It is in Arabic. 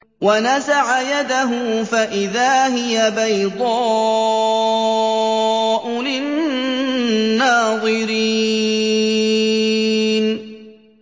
وَنَزَعَ يَدَهُ فَإِذَا هِيَ بَيْضَاءُ لِلنَّاظِرِينَ